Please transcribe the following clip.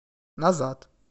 назад